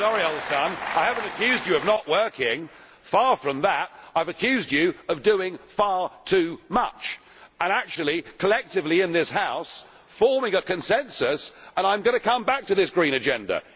Oh no, I'm sorry, old son, I haven't accused you of not working far from that. I have accused you of doing far too much and actually, collectively in this House, forming a consensus, and I am going to come back to this green agenda.